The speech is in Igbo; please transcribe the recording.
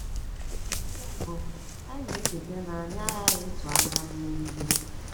Nke mbụ, anyị na-echeta na anyị aghaghị ịtụ anya mmegide.